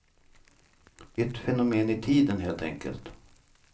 Ett fenomen i tiden helt enkelt.